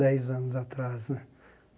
dez anos atrás né.